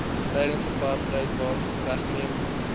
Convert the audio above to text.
tydens apartheid weggeneem